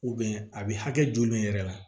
a bɛ hakɛ joli yɛrɛ la